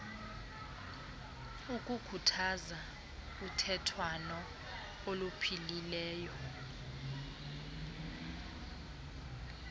ukukhuthaza uthethwano oluphilileyo